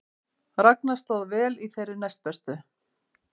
Ragna stóð vel í þeirri næstbestu